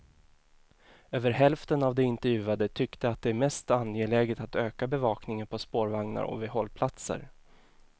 Över hälften av de intervjuade tyckte att det är mest angeläget att öka bevakningen på spårvagnar och vid hållplatser.